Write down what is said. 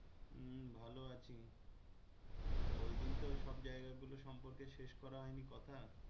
হম ভালো আছি তো ওইদিন তো সব জায়গাগুলো সম্পর্কে শেষ করা হয়নি কথা